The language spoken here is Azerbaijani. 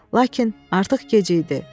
Lakin artıq gec idi.